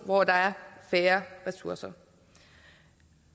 hvor der er færre ressourcer